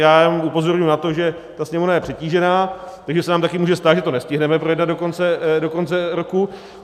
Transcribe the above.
Já jenom upozorňuji na to, že ta Sněmovna je přetížená, takže se nám taky může stát, že to nestihneme projednat do konce roku.